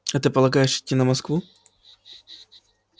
а ты полагаешь идти на москву